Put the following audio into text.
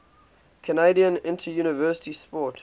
canadian interuniversity sport